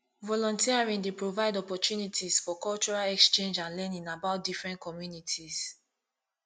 volunteering dey provide opportunties for cultural exchange and learning about different communities